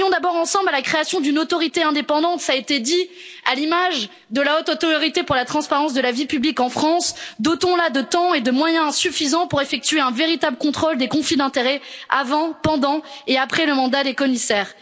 Travaillons d'abord ensemble à la création d'une autorité indépendante à l'image de la Haute autorité pour la transparence de la vie publique en France. Dotons la de temps et de moyens suffisants pour effectuer un véritable contrôle des conflits d'intérêts, avant, pendant et après le mandat des commissaires.